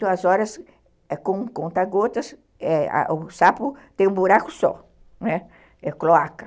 Duas horas com conta-gotas, é, o sapo tem um buraco só, é cloaca.